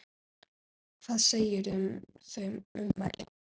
Hvað segirðu um þau ummæli?